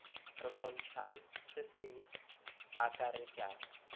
se kgontšhang se se akaretšang